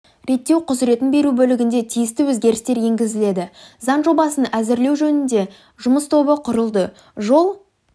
реттеу құзыретін беру бөлігінде тиісті өзгерістер енгізіледі заң жобасын әзірлеу жөнінде жұмыс тобы құрылды жол